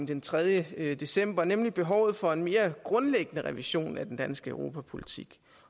den tredje december nemlig behovet for en mere grundlæggende revision af den danske europapolitik